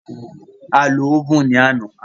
A lo óvùn ní àná.